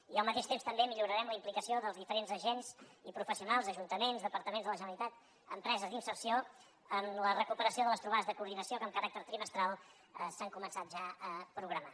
i al mateix temps també millorarem la implicació dels diferents agents i professionals d’ajuntaments departaments de la generalitat empreses d’inserció en la recuperació de les trobades d’inserció que amb caràcter trimestral s’han començat ja a programar